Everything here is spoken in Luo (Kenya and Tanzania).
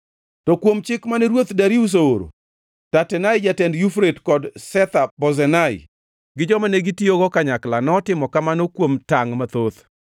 To kuom chik mane Ruoth Darius ooro, Tatenai, jatend Yufrate, kod Shetha-Bozenai gi joma negitiyogo kanyakla notimo kamano kuom tangʼ mathoth.